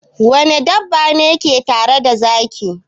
Wane dabba ne ke tare da zaki?